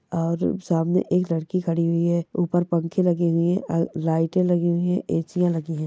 और सामने एक लड़की खड़ी हुई है ऊपर पंखे लगे हुए है और लाइटें लगी हुई है ऐसीयां लगी है।